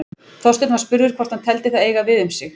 Þorsteinn var spurður hvort hann teldi það eiga við um sig.